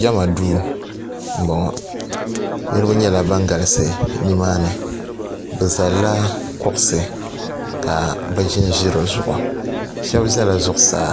Jema duu m boŋɔ niriba nyɛla ban galisi nimaani bɛ zalila kuɣusi ka bɛ ʒinʒi di zuɣu sheba zala zuɣusaa